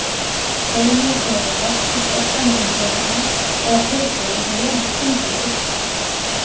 Hlegið þegar þeir veltust öskrandi um göturnar eða hlupu einsog lifandi kyndlar í burtu.